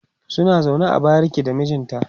suna zaune a bariki da mijinta